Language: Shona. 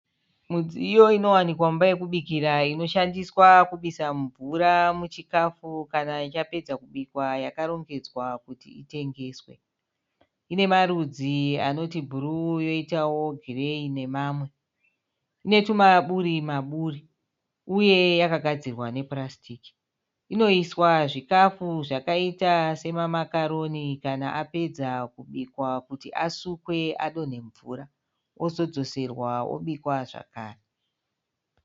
Mudziyo inowanikwa muimba yokubikira inoshandiswa kubisa mvura muchikafu kana chapedza kubikwa yakarongedzwa kuti itengeswe. Ine marudzi anoti bhuru, yoitawo gireyi nemamwe. Ine tumaburi maburi uye yakagadzirwa nepurasitiki. Inoiswa zvikafu zvakaita semamakaroni kana apedza kubikwa kuti asukwe adhonhe mvura ozodzoserwa kuti obikwa zvakre.